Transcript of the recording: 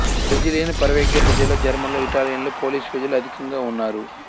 Brazilian పరాగ్వేప్రజలలో జర్మన్లు ఇటాలియన్లు పోలిష్ ప్రజలు అధికంగా ఉన్నారు